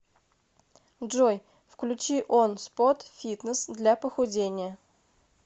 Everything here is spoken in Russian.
джой включи он спот фитнес для похудения